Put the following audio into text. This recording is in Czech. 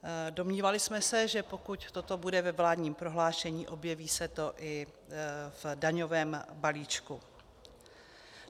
Domnívali jsme se, že pokud toto bude ve vládním prohlášení, objeví se to i v daňovém balíčku.